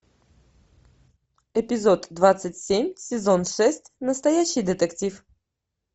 эпизод двадцать семь сезон шесть настоящий детектив